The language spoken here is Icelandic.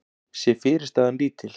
sé fyrirstaðan lítil.